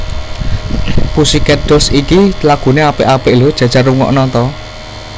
Pussycat Dolls iki lagune apik apik lho jajal rungokno ta